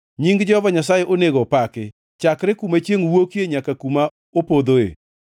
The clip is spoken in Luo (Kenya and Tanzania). Nying Jehova Nyasaye onego opaki, chakre kuma chiengʼ wuokie, nyaka kuma opodhoe.